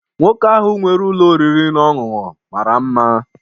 Nwoke ahụ nwere ụlọ oriri na ọṅụṅụ mara mma.